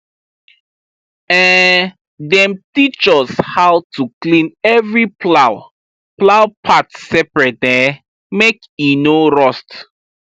um dem teach us how to clean every plow plow part separate um make e no rust